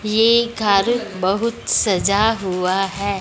ये घर बहुत सजा हुआ है।